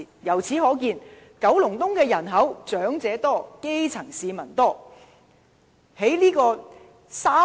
由此可見，九龍東的長者多、基層市民多。